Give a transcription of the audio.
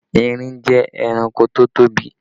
Erin jẹ́ ẹranko tó tóbi